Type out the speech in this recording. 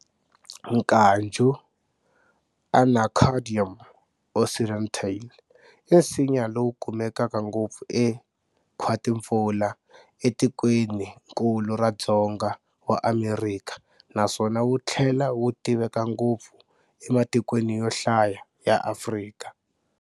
Nkaju, Anacardium occidentale, i nsinya lowu kumekaka ngopfu e, khwati-mpfula e tikweninklu ra Dzonga wa Amerika naswona wuthlela wu tiveka ngopfu ematikweni yo hlaya ya Afrika.